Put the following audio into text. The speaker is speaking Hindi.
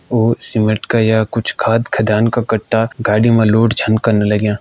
उ सीमेंट का या कुछ खाद खदान का कट्टा गाडी म लोड